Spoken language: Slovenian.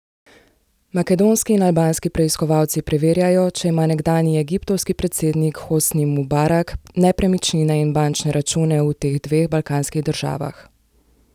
Makedonski in albanski preiskovalci preverjajo, če ima nekdanji egiptovski predsednik Hosni Mubarak nepremičnine in bančne račune v teh dveh balkanskih državah.